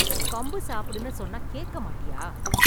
கம்பு சாப்புடுன்னு சொன்னா கேக்க மாட்டியா?